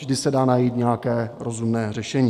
Vždy se dá najít nějaké rozumné řešení.